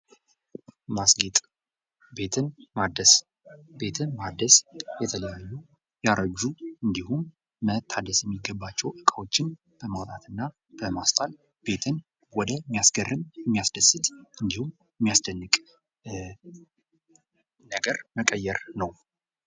"ማስጌጥ አቤትን ማደስ፤ ቤትን ማደስ የተለያዬ ያረጅ አንዲሁም መታደሰ የሚገባቸውን እቃዎችን በመውጣትና በማስጣት ቤትን ወደ ሚያስገርም፥ የሚያስደስት እንዲሁም የሚያስደንቅ ነገር መቀየር ነው። "